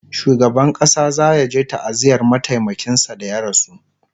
shugaban ƙasa zayaje ta'aziyar mataimakin sa da ya rasu